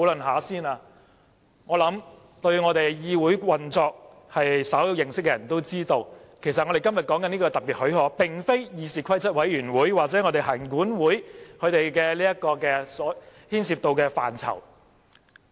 我想，對我們議會運作稍有認識的人都知道，我們今天討論的這項特別許可，其實並非議事規則委員會或行管會所牽涉的範疇。